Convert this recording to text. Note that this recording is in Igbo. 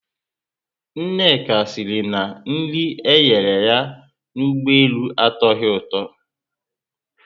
Nneka siri na nri enyere ha na Ụgbọelu atoghi ụtọ